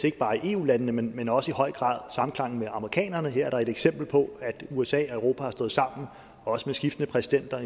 ikke bare i eu landene men også i høj grad samklang med amerikanerne så her er der et eksempel på at usa og europa har stået sammen også med skiftende præsidenter